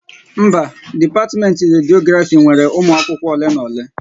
Mba, dipatiment Rediografi nwere umụ akwụkwọ ole na ole